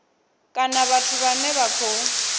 kana vhathu vhane vha khou